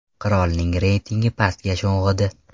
Qirolning reytingi pastga sho‘ng‘idi.